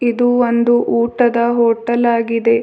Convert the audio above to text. ಇದು ಒಂದು ಊಟದ ಹೋಟೆಲ್ ಆಗಿದೆ.